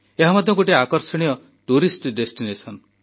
ଏହା ମଧ୍ୟ ଗୋଟିଏ ଆକର୍ଷଣୀୟ ପର୍ଯ୍ୟଟନସ୍ଥଳୀ